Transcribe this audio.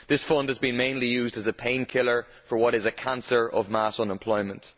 This fund has been mainly used as a painkiller for what is a cancer of mass unemployment.